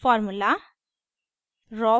formula